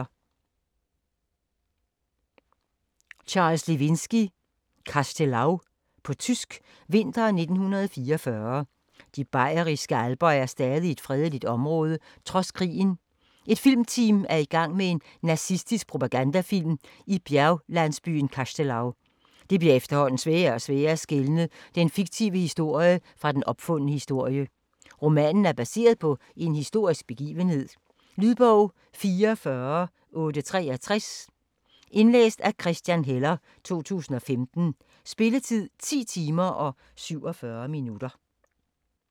Lewinsky, Charles: Kastelau På tysk. Vinter 1944. De bayerske alper er stadig et fredeligt område trods krigen. Et filmteam er i gang med en nazistisk propagandafilm i bjerglandsbyen Kastelau. Det bliver efterhånden sværere og sværere at skelne den fiktive historie fra den opfundne historie. Romanen er baseret på en historisk begivenhed. Lydbog 44863 Indlæst af Christian Heller, 2015. Spilletid: 10 timer, 47 minutter.